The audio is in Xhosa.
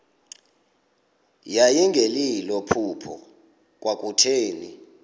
yayingelilo phupha kwakutheni